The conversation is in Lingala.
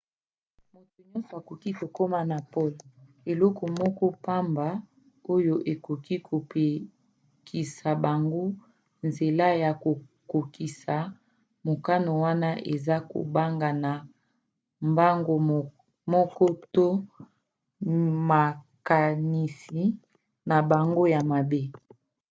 moto nyonso akoki kokoma na pole. eloko moko pamba oyo ekoki kopekisa bango nzela ya kokokisa mokano wana eza kobanga na bango moko to makanisi na bango ya mabe